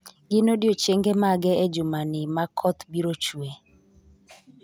Gin odiechienge mage e jumani ma koth biro chue?